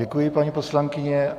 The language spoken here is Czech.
Děkuji, paní poslankyně.